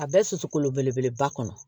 A bɛɛ susu kolo belebeleba kɔnɔ